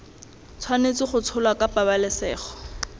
tshwanetse go tsholwa ka pabalesego